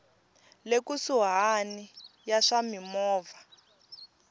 le kusuhani ya swa mimovha